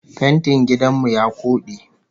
Fentin gidan mu ya koɗe